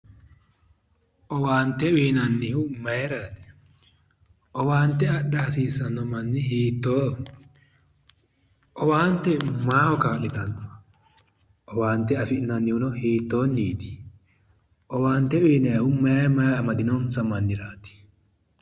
Owaante uynannihu mayraati? Owaante adha hasiissanno manni hiittoho? owaante maaho kaa'litanno? owaante afi'nannihu hiittonniti? owaante uyannihu may may amadinonsa manniraati?